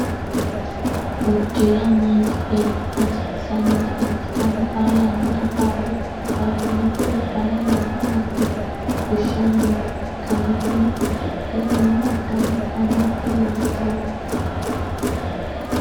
Udira manchi beetira hasiisanotta ikitanna xaa yannara faafiriku faashinete udano yanna yannate fushanni nooha ikanna tinni udidhe noo udano dannise hiittooho?